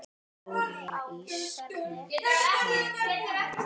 Dóra í Skarði.